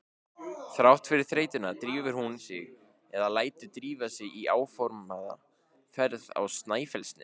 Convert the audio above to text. Þrátt fyrir þreytuna drífur hún sig eða lætur drífa sig í áformaða ferð á Snæfellsnes.